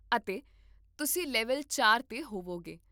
ਅਤੇ ਤੁਸੀਂ ਲੈਵਲ ਚਾਰ 'ਤੇ ਹੋਵੋਗੇ